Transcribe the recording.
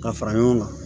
Ka fara ɲɔgɔn kan